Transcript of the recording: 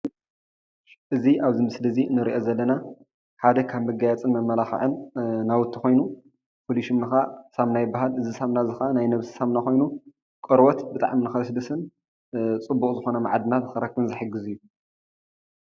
እዚ ኣብዚ ምስሊ እዚ ንሪኦ ዘለና ሓደ ካብ መጋየፅን መመላኽዕን ናውቲ ኮይኑ ፍሉይ ሽሙ ከዓ ሳሙና ይበሃል። እዚ ሳሙና እዚ ከዓ ናይ ነብሲ ሳሙና ኮይኑ ቆርበት ብጣዕሚ ንክልስልስን ፅቡቅ ዝኮነ መዓድናት ንክንረክብን ዝሕግዝ እዩ ።